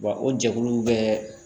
Wa o jɛkulu bɛɛ